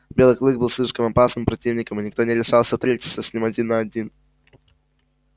белый клык был слишком опасным противником и никто не решался встретиться с ним один на один